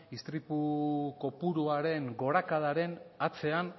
istripu kopuruaren gorakadaren atzean